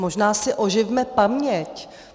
Možná si oživme paměť.